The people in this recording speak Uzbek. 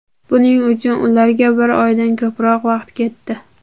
Buning uchun ularga bir oydan ko‘proq vaqt ketdi.